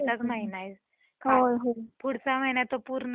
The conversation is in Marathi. पुढचा महिना तर पूर्ण क्लायमेट थंडीचा च असणार आहे.